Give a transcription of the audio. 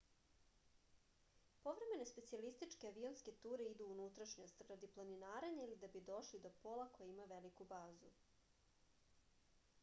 povremene specijalističke avionske ture idu u unutrašnjost radi planinarenja ili da bi došli do pola koji ima veliku bazu